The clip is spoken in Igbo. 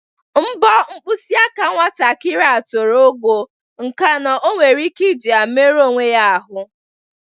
Mbọ mpkịsị aka nwatakịrị a toro ogo nke na o nwere ike iji ha meruo onwe ya arụ.